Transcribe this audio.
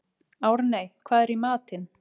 Árney, hvað er í matinn?